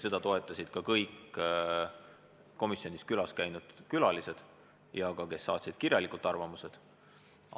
Seda toetasid ka kõik komisjonis külas käinud külalised ja need, kes saatsid arvamuse kirjalikult.